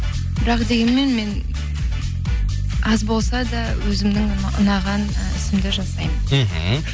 бірақ дегенмен мен аз болса да өзімнің ұнаған і ісімді жасаймын мхм